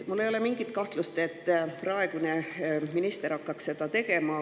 Ma ei kahtlusta üldse, et praegune minister hakkab seda tegema.